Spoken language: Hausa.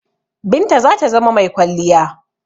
Binta zata zama mai kwalliya.